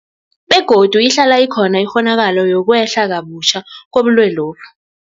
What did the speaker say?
Begodu ihlala ikhona ikghonakalo yokwehla kabutjha kobulwelobu.